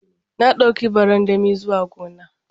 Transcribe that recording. Na dauki barandami zuwa gona.